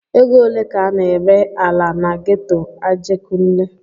Ego ole ka a na-ere ala na geto Ajegunle?